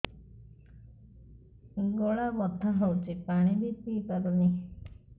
ଗଳା ବଥା ହଉଚି ପାଣି ବି ପିଇ ପାରୁନି